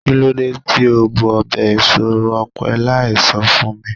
kilode ti o bu obe eso òpe Lai wo fún mi